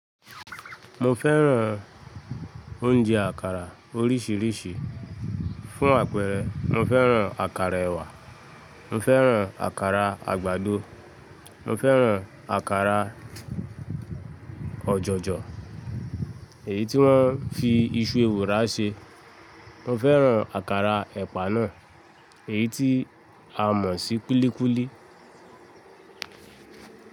Mo fẹ́ràn oúnjẹ àkàrà oríṣiríṣi. Fún àpẹẹrẹ, mo fẹ́ràn àkàrà ẹ̀wà, mo fẹ́ràn àkàrà àgbàdo, mo fẹ́ràn àkàrà ọ̀jọ̀jọ̀ èyí tí wọ́n fi iṣu ewùrà ṣe, mo fẹ́ràn àkàrà ẹ̀pà náà, èyí tí a mọ̀ sí kúlíkúlí.